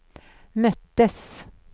möttes